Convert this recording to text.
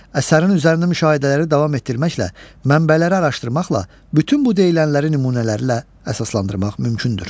Əsərin üzərində müşahidələri davam etdirməklə, mənbələri araşdırmaqla bütün bu deyilənləri nümunələri ilə əsaslandırmaq mümkündür.